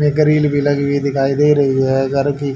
में ग्रिल भी लगी हुई दिखाई दे रही है घर की --